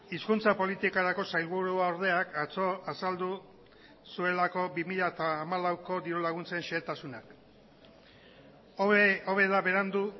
hizkuntza politikarako sailburuordeak atzo azaldu zuelako bi mila hamalauko dirulaguntzen xehetasunak hobe da berandu